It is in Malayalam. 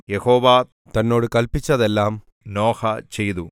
യഹോവ തന്നോട് കല്പിച്ചതെല്ലാം നോഹ ചെയ്തു